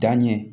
Danɲɛ